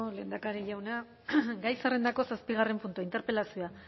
lehendakari juna gai zerrendako zazpigarren puntua interpelazioa